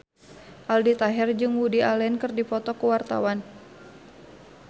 Aldi Taher jeung Woody Allen keur dipoto ku wartawan